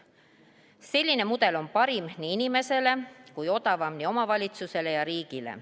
Selline mudel on parim inimesele ja odavam nii omavalitsusele kui ka riigile.